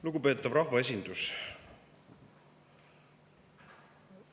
Lugupeetav rahvaesindus!